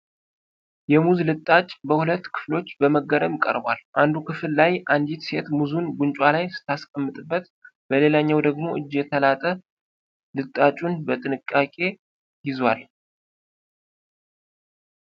የሙዝ ልጣጭ በሁለት ክፍሎች በመገረም ቀርቧል። አንዱ ክፍል ላይ አንዲት ሴት ሙዙን ጉንጯ ላይ ስትጠቀምበት፣ በሌላኛው ደግሞ እጅ የተላጠ ልጣጩን በጥንቃቄ ይዟል።